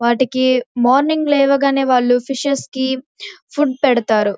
వాటికీ మార్నింగ్ లేవగానే వాళ్ళు ఫిషెస్ కి ఫుడ్ పెడుతారు.